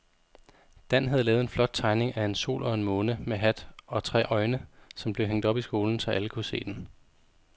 Dan havde lavet en flot tegning af en sol og en måne med hat og tre øjne, som blev hængt op i skolen, så alle kunne se den.